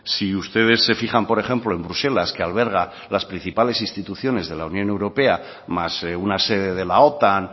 si ustedes se fijan por ejemplo en bruselas que alberga las principales instituciones de la unión europea más una sede de la otan